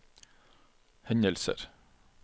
hendelser